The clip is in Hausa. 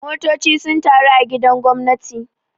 Motoci sun taru a gidan gwamnati.